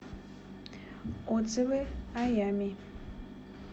отзывы аями